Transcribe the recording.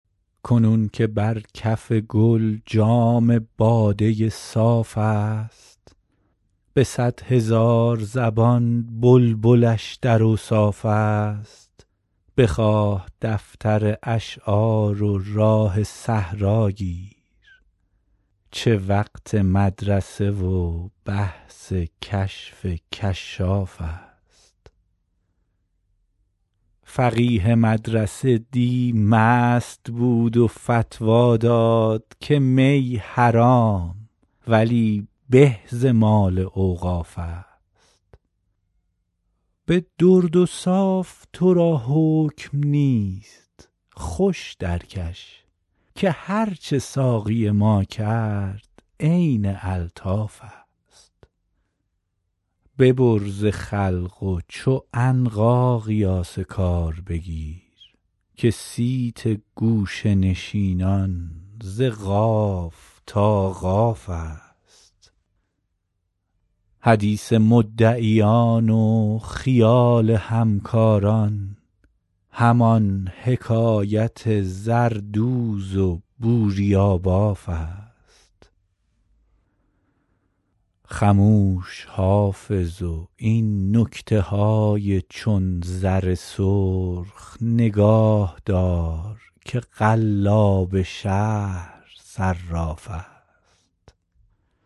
کنون که بر کف گل جام باده صاف است به صد هزار زبان بلبلش در اوصاف است بخواه دفتر اشعار و راه صحرا گیر چه وقت مدرسه و بحث کشف کشاف است فقیه مدرسه دی مست بود و فتوی داد که می حرام ولی به ز مال اوقاف است به درد و صاف تو را حکم نیست خوش درکش که هرچه ساقی ما کرد عین الطاف است ببر ز خلق و چو عنقا قیاس کار بگیر که صیت گوشه نشینان ز قاف تا قاف است حدیث مدعیان و خیال همکاران همان حکایت زردوز و بوریاباف است خموش حافظ و این نکته های چون زر سرخ نگاه دار که قلاب شهر صراف است